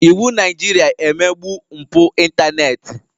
Iwụ Naịjirịa emegbu mpụ ịntanetị.